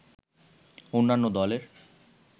অন্যান্য দলের